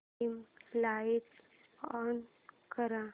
dim light on कर